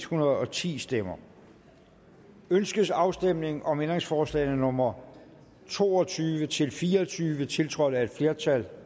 hundrede og ti stemmer ønskes afstemning om ændringsforslagene nummer to og tyve til fire og tyve tiltrådt af et flertal